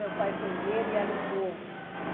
Meu pai foi ver e alugou.